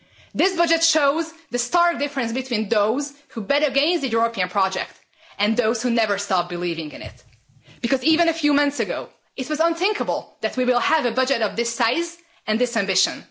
This budget shows the stark difference between those who bet against the European project and those who never stopped believing in it, because even a few months ago, it was unthinkable that we will have a budget of this size and this ambition.